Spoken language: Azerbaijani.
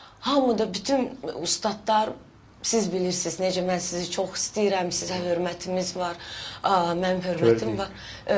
Hamı da bütün ustadlar, siz bilirsiz necə mən sizi çox istəyirəm, sizə hörmətimiz var, mənim hörmətim var.